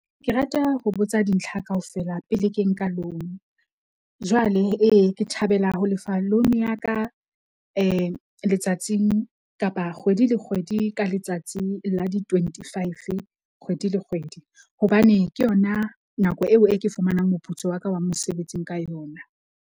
Ke rata ho botsa dintlha kaofela pele ke nka loan. Jwale, ee ke thabela ho lefa loan ya ka letsatsing kapa kgwedi le kgwedi ka letsatsi la di-twenty five, kgwedi le kgwedi. Hobane ke yona nako eo e ke fumanang moputso wa ka wa mosebetsing ka yona.